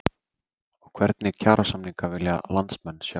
Og hvernig kjarasamninga vilja landsmenn sjá?